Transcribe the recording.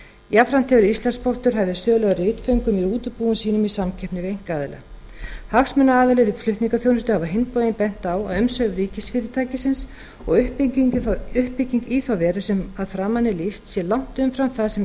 jafnframt hefur íslandspóstur hafið sölu á ritföngum í útibúum sínum í samkeppni við einkaaðila hagsmunaaðilar í flutningaþjónustu hafa á hinn bóginn bent á að umsvif ríkisfyrirtækisins og uppbygging í þá veru sem að framan er lýst sé langt umfram það sem